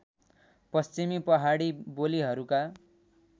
पश्चिमी पहाडी बोलीहरूका